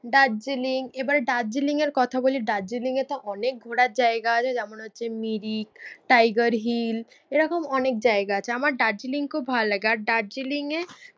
দার্জিলিং। এবার দার্জিলিং এর কথা বলি, দার্জিলিঙে তো অনেক ঘোরার জায়গা আছে যেমন হচ্ছে মিরিক, টাইগার হিল এরকম অনেক জায়গা আছে। আমার দার্জিলিং খুব ভালো লাগে আর দার্জিলিঙে